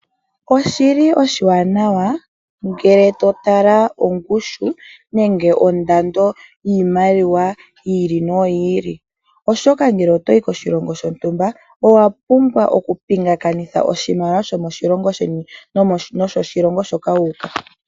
Oshili oshiwanawa ngele to tala ongushu nenge ondando yiimaliwa yi ili noyi ili, oshoka ngele otoyi koshilongo shontumba owapumbwa okupingakanitha oshimaliwa shomoshilongo sheni noshoshilongo shilongo hoka wuuka.